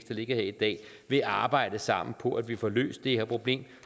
ligger her i dag vil arbejde sammen på at vi får løst det her problem